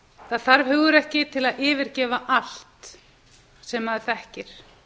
það þarf hugrekki til að yfirgefa allt það sem maður þekkir